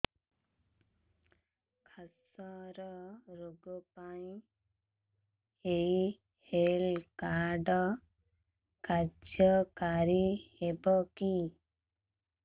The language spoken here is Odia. କ୍ୟାନ୍ସର ରୋଗ ପାଇଁ ଏଇ ହେଲ୍ଥ କାର୍ଡ କାର୍ଯ୍ୟକାରି ହେବ କି